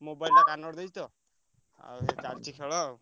Mobile ଟା କଣରେ ଦେଇଅଛି ତ ଆଉ ଚାଲିଛି ଖେଳ ଆଉ।